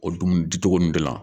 O dumuni dicogo nun de la